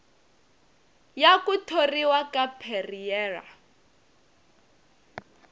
ya ku thoriwa ka perreira